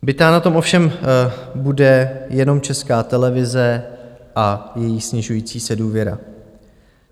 Bita na tom ovšem bude jenom Česká televize a její snižující se důvěra.